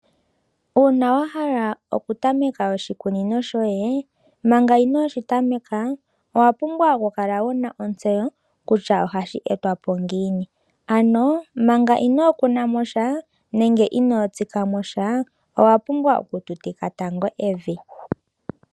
Uuna wahala oku tameka oshikunino shoye, manga inooshi tameka, owa pumbwa oku kala wuna ontseyo kutya ohashi etwapo ngiini. Ano manga inookunamo sha, nenge inoo tsikamo sha, owa pumbwa oku tutika tango evi.